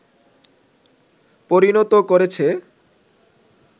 পরিণত করেছে